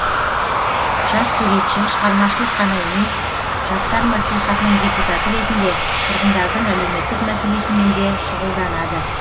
жас суретші шығармашылық қана емес жастар мәслихатының депутаты ретінде тұрғындардың әлеуметтік мәселесімен де шұғылданады